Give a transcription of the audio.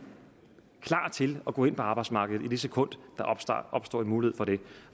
klar til at gå ind på arbejdsmarkedet i det sekund der opstår en mulighed for det